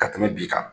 Ka tɛmɛ bi kan